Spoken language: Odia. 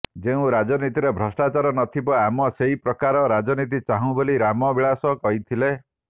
ଯେଉଁ ରାଜନୀତିରେ ଭ୍ରଷ୍ଟାଚାର ନଥିବ ଆମ ସେହିପ୍ରକାର ରାଜନୀତି ଚାହୁଁ ବୋଲି ରାମ ବିଳାସ କହିଥିଲେ